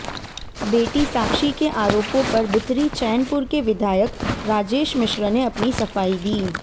बेटी साक्षी के आरोपों पर बिथरी चैनपुर के विधायक राजेश मिश्र ने अपनी सफाई दी